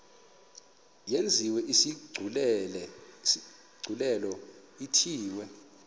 yenziwe isigculelo ithiwe